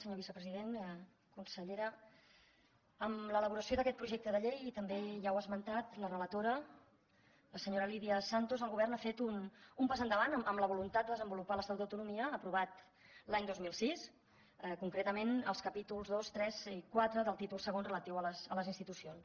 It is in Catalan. senyor vicepresident consellera amb l’elaboració d’aquest projecte de llei també ja ho ha esmentat la relatora la senyora lídia santos el govern ha fet un pas endavant en la voluntat de desenvolupar l’estatut d’autonomia aprovat l’any dos mil sis concretament els capítols ii iii i iv del títol ii relatiu a les institucions